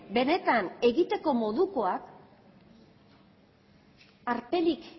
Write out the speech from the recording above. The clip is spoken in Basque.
benetan egiteko modukoak alferrik